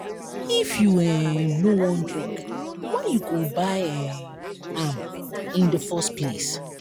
if you um no wan drink why you go buy um am in the first place